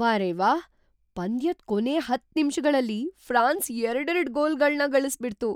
ವಾರೆವ್ಹಾ! ಪಂದ್ಯದ್ ಕೊನೇ ಹತ್ತ್ ನಿಮ್ಷಗಳಲ್ಲಿ ಫ್ರಾನ್ಸ್ ಎರಡೆರಡ್ ಗೋಲ್‌ಗಳ್ನ ಗಳಿಸ್ಬಿಡ್ತು!